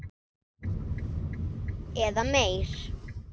Eða meir.